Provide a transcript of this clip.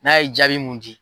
N'a ye jaabi mun di.